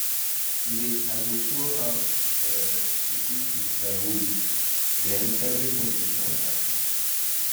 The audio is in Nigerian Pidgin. we dey um show how um to cook with firewood then everybody go chop after